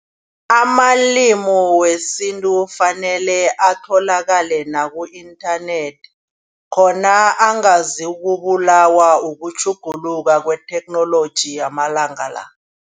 Amalimu wesintu fanele atholakale naku-inthanethi. Khona angazokubulawa ukutjhuguluka kwetheknoloji amalanga la.